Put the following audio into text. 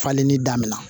Falenni daminɛ